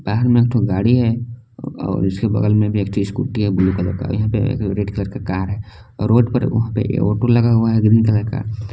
बाहर में ठो गाड़ी है और उसके बगल में भी एक ठो स्कूटी है ब्लू कलर का यहां पे रेड कलर का कार है रोड पर वहां पे ऑटो लगा हुआ है ग्रीन कलर का।